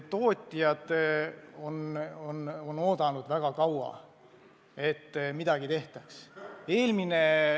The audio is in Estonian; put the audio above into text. Tootjad on oodanud väga kaua, et midagi tehtaks.